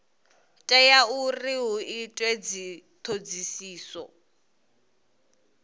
tea uri hu itwe dzithodisiso